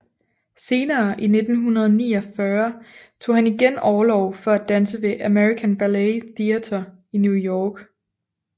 Senere i 1949 tog han igen orlov for at danse ved American Ballet Theatre i New York